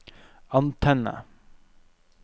antenne